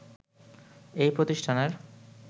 এই প্রতিষ্ঠানের